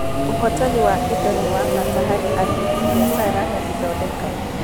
Ũhotani wa indo nĩ wa bata harĩ andũ, biacara, na ithondeka.